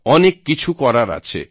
অনেক কিছু করার আছে